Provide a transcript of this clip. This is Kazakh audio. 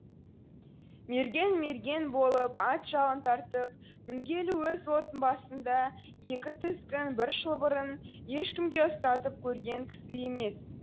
мерген мерген болып ат жалын тартып мінгелі өз отының басында екі тізгін бір шылбырын ешкімге ұстатып көрген кісі емес